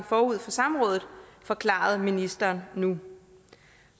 forud for samrådet forklarede ministeren nu